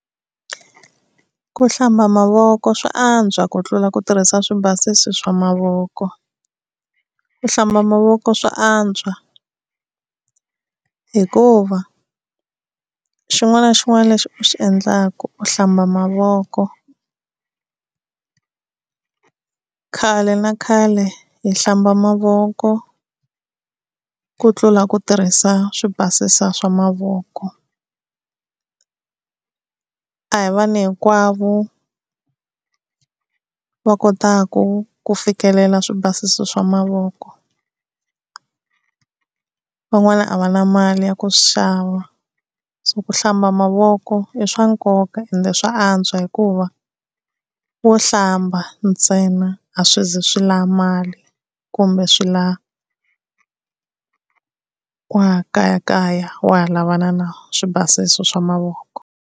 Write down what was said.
Ku hlamba mavoko swa antswa ku tlula ku tirhisa swi basisi swa mavoko. Ku hlamba mavoko swa antswa hikuva xin'wana na xin'wana lexi u xi endlaka u hlamba mavoko. Khale na khale hi hlamba mavoko, ku tlula ku tirhisa swi basisa swa mavoko. A hi vanhu hinkwavo va kotaka ku fikelela swi basisa swa mavoko. Van'wana a va na mali ya ku swi xava, so ku hlamba mavoko i swa nkoka ende swa antswa hikuva wo hlamba ntsena a swi zi swi la mali, kumbe swi lava wa ha kayakaya wa ha lavana na swi basisi swa mavoko.